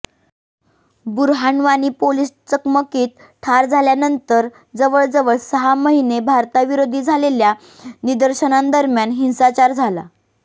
Burhan Wani police चकमकीत ठार झाल्यानंतर जवळजवळ सहा महिने भारताविरोधी झालेल्या निदर्शनांदरम्यान हिंसाचार झाला